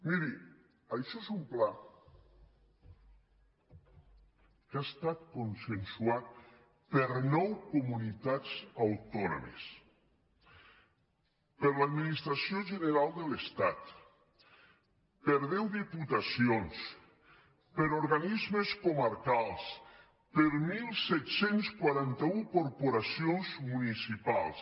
miri això és un pla que ha estat consensuat per nou comunitats autònomes per l’administració general de l’estat per deu diputacions per organismes comarcals per disset quaranta u corporacions municipals